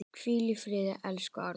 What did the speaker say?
Hvíl í friði, elsku Árni.